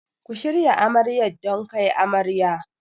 Ku shirya Amaryar don kai amarya.